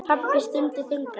Pabbi stundi þungan.